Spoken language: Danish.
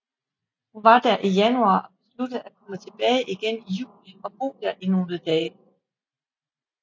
Hun var der i januar og besluttede at komme tilbage igen i juli og bo der i nogle dage